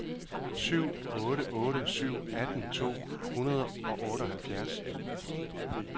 syv otte otte syv atten to hundrede og otteoghalvfjerds